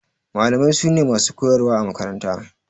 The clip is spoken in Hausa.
Malamai su ne masu koyarwa a makaranta.